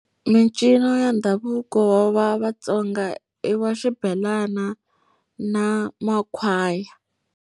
Mincino ya ndhavuko wa vaTsonga i wa xibelana na makhwaya.